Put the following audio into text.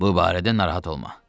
Bu barədə narahat olma.